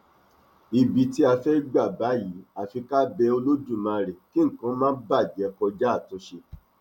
ibi tí a bá fẹẹ gbà báyìí àfi ká bẹ olódùmarè kí nǹkan má bàjẹ kọjá àtúnṣe